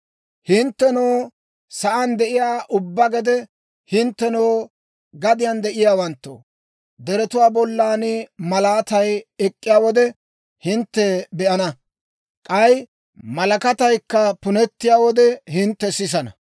Hinttenoo, sa'aan de'iyaa ubbaa gede, hinttenoo, gadiyaan de'iyaawanttoo, deretuwaa bollan malaatay ek'k'iyaa wode, hintte be'ana; k'ay malakataykka punettiyaa wode, hintte sisana.